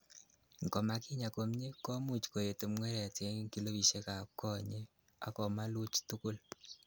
Ingomakinya komie , komuch koet pngweret en kilopisiekab konyek ak komaluch tukul.